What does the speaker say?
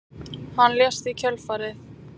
Hann lést í kjölfarið